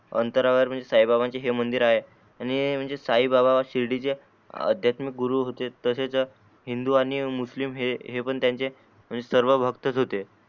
अंतरावर म्हणजे साई बाबांचे हे मंदिर आहे यांनी म्हणजे साई बाबा शिर्डीचे अध्यात्मक गुरु होते तसेच हिन्दी आणि मुस्लिम हे पण त्यांचे सर्व भक्तच होते.